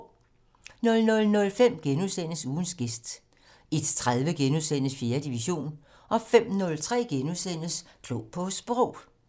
00:05: Ugens gæst * 01:30: 4. division * 05:03: Klog på Sprog *